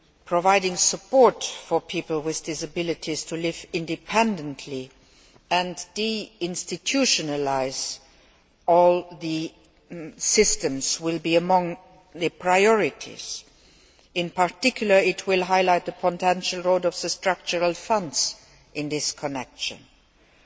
Providing support for people with disabilities to live independently and de institutionalising all the systems will be among the priorities. In particular, it will highlight the potential role of the Structural Funds in this regard.